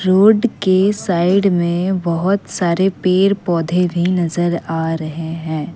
Road के side में बहोत सारे पेड़ पौधे भी नजर आ रहे हैं।